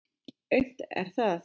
Aumt er það.